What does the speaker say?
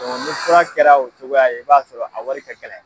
ni fura kɛra o cogoya ye i b'a sɔrɔ o wari ka gɛlɛ.